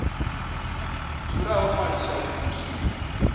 dzula ho ṅwaliswa u swika